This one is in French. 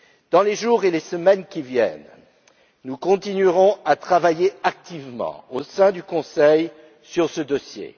Dans les jours et les semaines qui viennent, nous continuerons à travailler activement au sein du Conseil sur ce dossier.